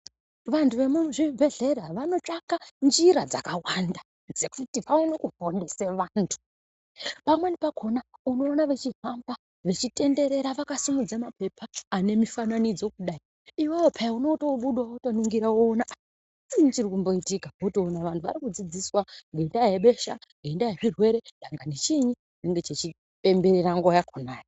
Vantu vemuzvibhedhlera vanotsvaka njira dzakawanda dzekuti vaone kuponesa vantu. Pamweni pakona unoona vechifamba vechitenderera vakasimudza mapepa ane mifananidzo kudai. Iwewe phiya, unotobudawo wotoningira woona ah chiinyi chinomboitika? Wotoona vantu vari kudzidziswa ngendaa yebesha, ngendaa yezvirwere, dangani chiinyi, chinenge chichipemberera nguwa yakona.